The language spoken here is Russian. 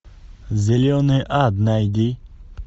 зеленый ад найди